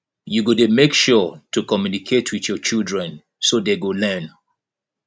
you go dey make sure to communicate with your children so dey go learn